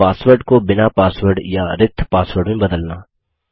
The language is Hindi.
पासवर्ड को बिना पासवर्ड या रिक्त पासवर्ड में बदलना